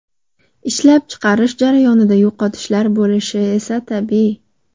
Ishlab chiqarish jarayonida yo‘qotishlar bo‘lishi esa tabiiy.